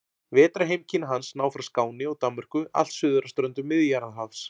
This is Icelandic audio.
Vetrarheimkynni hans ná frá Skáni og Danmörku allt suður að ströndum Miðjarðarhafs.